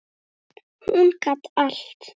Hún gat allt.